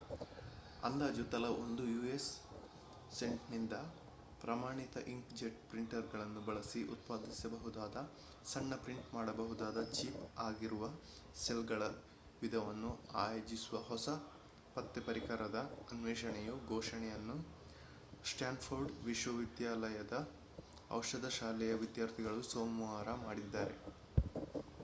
ಅಂದಾಜು ತಲಾ ಒಂದು ಯು.ಎಸ್‌ ಸೆಂಟ್‌ನಿಂದ ಪ್ರಮಾಣಿತ ಇಂಕ್‌ಜೆಟ್ ಪ್ರಿಂಟರುಗಳನ್ನು ಬಳಸಿ ಉತ್ಪಾದಿಸಬಹುದಾದ ಸಣ್ಣ ಪ್ರಿಂಟ್ ಮಾಡಬಹುದಾದ ಚಿಪ್‌ ಆಗಿರುವ ಸೆಲ್‌ಗಳ ವಿಧವನ್ನು ಆಯೋಜಿಸುವ ಹೊಸ ಪತ್ತೆ ಪರಿಕರದ ಅನ್ವೇಷಣೆಯ ಘೋಷಣೆಯನ್ನು ಸ್ಟಾನ್‌ಫೋರ್ಡ್‌ ವಿಶ್ವವಿದ್ಯಾಲಯದ ಔಷಧ ಶಾಲೆಯ ವಿದ್ಯಾರ್ಥಿಗಳು ಸೋಮವಾರ ಮಾಡಿದ್ದಾರೆ